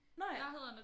Nåh ja